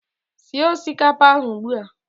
Sie osikapa ahu ugbua!